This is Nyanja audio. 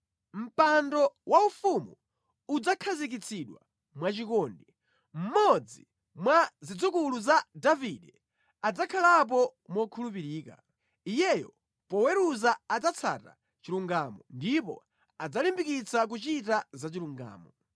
Mpando waufumu udzakhazikitsidwa mwachikondi; mmodzi mwa zidzukulu za Davide adzakhalapo mokhulupirika. Iyeyo poweruza adzatsata chilungamo ndipo adzalimbikitsa kuchita zachilungamo.